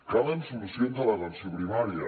calen solucions a l’atenció primària